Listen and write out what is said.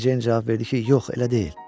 Meri Ceyn cavab verdi ki, yox elə deyil.